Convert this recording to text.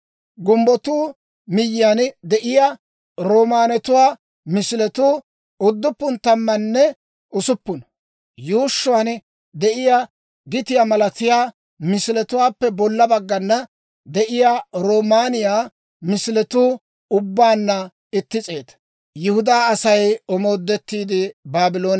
Gumbbotoo miyyiyaan miyyiyaan de'iyaa roomaanetuwaa misiletuu udduppun tammanne usuppuna; yuushshuwaan de'iyaa gitiyaa malatiyaa misiletuwaappe bolla baggana de'iyaa roomaaniyaa misiletuu ubbaanna itti s'eeta.